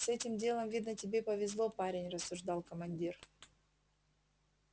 с этим делом видно тебе повезло парень рассуждал командир